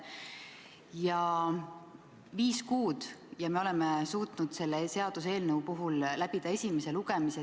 Kulunud on viis kuud ja me oleme suutnud selle seaduseelnõu puhul läbida esimese lugemise.